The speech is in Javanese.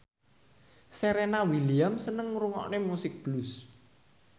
Serena Williams seneng ngrungokne musik blues